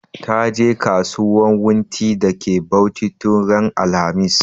Ta je kasuwan wunti da ke Bauchi tun ran alhamis